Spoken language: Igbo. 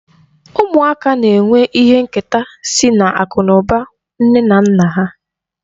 Ụmụaka na-enwe ihe nketa sị n'akụ na ụba nne na nna ha.